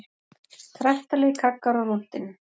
Kraftalegir kaggar á rúntinn